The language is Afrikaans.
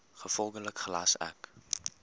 gevolglik gelas ek